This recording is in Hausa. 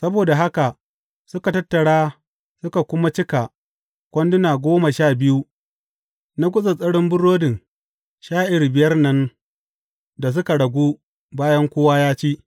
Saboda haka suka tattara su suka kuma cika kwanduna goma sha biyu na gutsattsarin burodin sha’ir biyar nan da suka ragu bayan kowa ya ci.